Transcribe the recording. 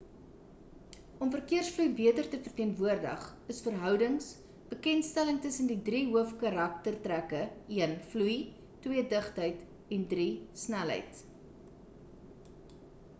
om verkeersvloei beter te verteenwoordig is verhoudings bewerkstellig tussen die 3 hoof karaktertrekke: 1 vloei 2 digtheid en 3 snelheid